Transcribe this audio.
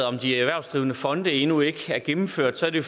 om de erhvervsdrivende fonde endnu ikke er gennemført har det